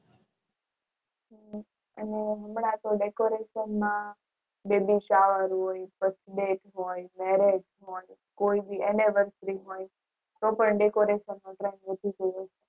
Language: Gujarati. અને હમણાં તો decoration માં કોઈ બી બધા venetable કપડાં